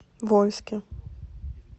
вольске